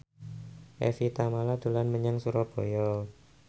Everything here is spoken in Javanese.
Evie Tamala dolan menyang Surabaya